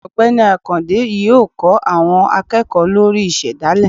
Ọgbẹni akande yọọ kó àwọn akeéko lorí ìsedálẹ